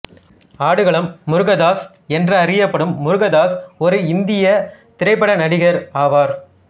ஆடுகளம் முருகதாஸ் என்றறியப்படும் முருகதாஸ் ஓர் இந்தியத் திரைப்பட நடிகர் ஆவார்